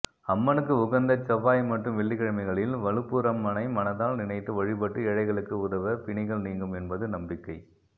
அம்மனுக்கு உகந்த செவ்வாய் மற்றும் வெள்ளிக்கிழமைகளில் வலுப்பூரம்மனை மனதால் நினைத்து வழிபட்டு ஏழைகளுக்கு உதவ பிணிகள் நீங்கும் என்பது நம்பிக்கை